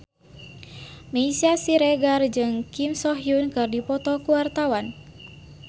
Meisya Siregar jeung Kim So Hyun keur dipoto ku wartawan